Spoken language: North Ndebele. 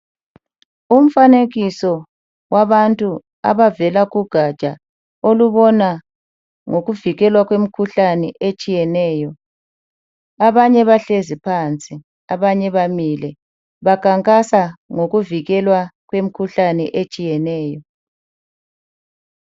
Umfanekiso wabantu abavela kugatsha olubona ngokuvikelwa kwemikhuhlane etshiyeneyo abanye bahlezi phansi abanye bamile bakhankasa ngokuvikelwa kwemkhuhlane etshiyeneyo.